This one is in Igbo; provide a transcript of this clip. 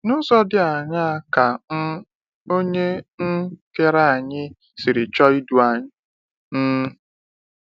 N’ụzọ dị aṅaa ka um Onye um Kere anyị siri chọọ idu anyị? um